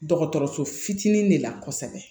Dɔgɔtɔrɔso fitinin de la kosɛbɛ